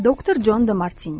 Doktor Con De Martini.